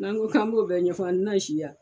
N'an ko k'an b'o bɛn ɲɛfɔ an tina si yan ?